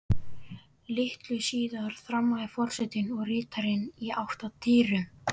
Litlu síðar þramma forsetinn og ritararnir í átt að dyrunum.